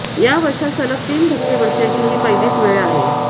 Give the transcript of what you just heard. या वर्षात सलग तीन धक्के बसण्याची ही पहिलीच वेळ आहे